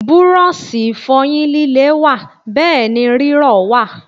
Búrọ̀ṣì Ìfọ̀yín líle wà bẹ́ẹ̀ ni rírọ̀ wà